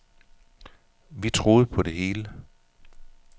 Vi troede på det hele.